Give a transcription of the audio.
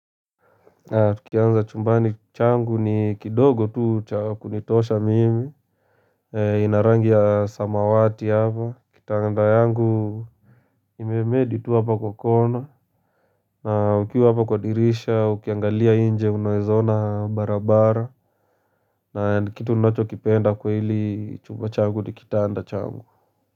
Tukianza chumbani changu ni kidogo tu cha kunitosha mimi ina rangi ya samawati hapa, kitanda yangu Imemedi tu hapa kwa kona na ukiwa hapa kwa dirisha, ukiangalia inje unaeza ona barabara na kitu unachokipenda kwa hili chumba changu ni kitanda changu.